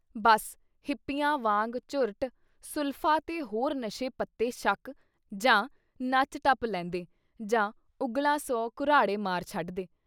ਬੱਸ ਹਿੱਪੀਆਂ ਵਾਂਗ ਚੁੱਰਟ, ਸੁਲਫ਼ਾ ਤੇ ਹੋਰ ਨਸ਼ੇ-ਪੱਤੇ ਛਕ ਜਾਂ ਨੱਚ-ਟੱਪ ਲੈਂਦੇ ਜਾਂ ਉਘਲਾ ਸੌਂ ਘੁਰਾੜੇ ਮਾਰ ਛੱਡਦੇ।